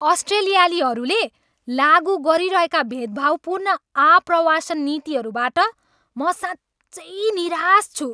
अस्ट्रेलियालीहरूले लागु गरिरहेका भेदभावपूर्ण आप्रवासन नीतिहरूबाट म साँच्चै निराश छु।